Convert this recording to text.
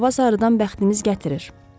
Bu il hava sarıdan bəxtimiz gətirir.